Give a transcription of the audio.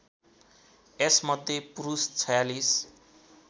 यसमध्ये पुरुष ४६